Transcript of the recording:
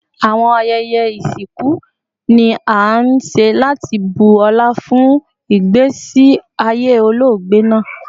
Awọn ayẹyẹ isinku ni a nṣe lati bu ọla fun igbesi aye ologbe naa